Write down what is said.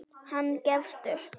Hann gefst upp.